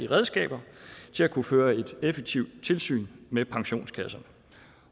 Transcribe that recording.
redskaber til at kunne føre et effektivt tilsyn med pensionskasserne